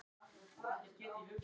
Húðir voru allar þurrar og gærur.